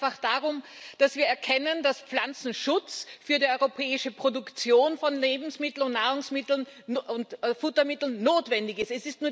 Hier geht es einfach darum, dass wir erkennen, dass Pflanzenschutz für die europäische Produktion von Lebensmitteln, Nahrungsmitteln und Futtermitteln notwendig ist.